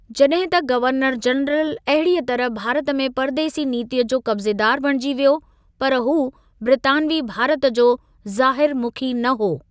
जॾहिं त governor general अहिड़ीअ तरह भारत में परदेसी नीतिअ जो कब्ज़ेदार बणिजी वियो, पर हू ब्रितानवी भारत जो ज़ाहिर मुखी न हो।